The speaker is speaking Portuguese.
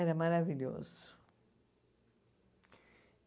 Era maravilhoso.